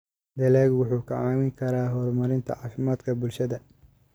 Dalaggu wuxuu kaa caawin karaa horumarinta caafimaadka bulshada.